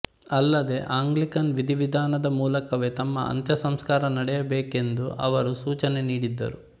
ಅಲ್ಲದೇ ಆಂಗ್ಲಿಕನ್ ವಿಧಿವಿಧಾನದ ಮೂಲಕವೇ ತಮ್ಮ ಅಂತ್ಯಸಂಸ್ಕಾರ ನಡೆಯಬೇಕೆಂದು ಅವರು ಸೂಚನೆ ನೀಡಿದ್ದರು